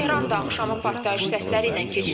Tehran da axşamı partlayış səsləri ilə keçib.